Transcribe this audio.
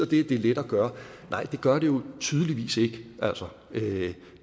det er let at gøre nej det gør det jo tydeligvis ikke